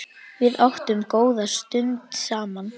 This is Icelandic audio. Við áttum góða stund saman.